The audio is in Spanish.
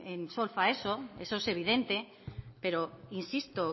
en solfa eso eso es evidente pero insisto